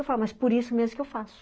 Eu falo, mas por isso mesmo que eu faço.